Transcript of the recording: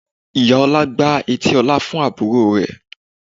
Ìyá Ọlá gbá etí Ọlá fún àbúrò rẹ̀